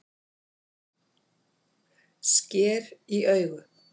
Sker í augu